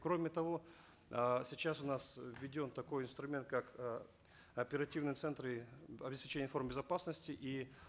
кроме того э сейчас у нас э введен такой инструмент как э оперативные центры обеспечения информ безопасности и